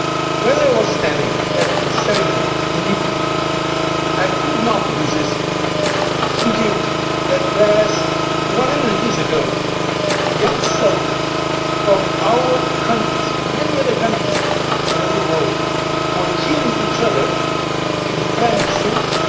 When I was standing at the ceremony in Ypres, I could not resist thinking that, whereas one hundred years ago young soldiers from our countries and many other countries all over the World were killing each other in the Flemish fields,